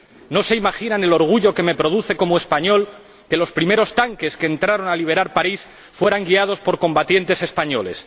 No se imaginan el orgullo que me produce como español que los primeros tanques que entraron a liberar París fueran guiados por combatientes españoles.